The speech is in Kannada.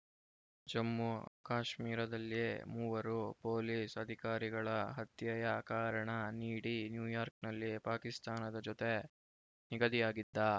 ಜಮ್ಮು ಕಾಶ್ಮೀರದಲ್ಲಿ ಮೂವರು ಪೊಲೀಸ್‌ ಅಧಿಕಾರಿಗಳ ಹತ್ಯೆಯ ಕಾರಣ ನೀಡಿ ನ್ಯೂಯಾರ್ಕ್ನಲ್ಲಿ ಪಾಕಿಸ್ತಾನದ ಜೊತೆ ನಿಗದಿಯಾಗಿದ್ದ